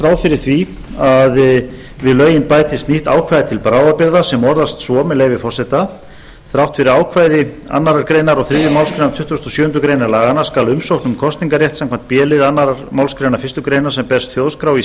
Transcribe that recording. ráð fyrir því að við lögin bætist nýtt ákvæði til bráðabirgða sem orðast svo með leyfi forseta þrátt fyrir ákvæði annarrar greinar og þriðju málsgrein tuttugustu og sjöundu grein laganna skal umsókn um kosningarrétt samkvæmt b lið annarrar málsgreinar fyrstu grein sem berst þjóðskrá í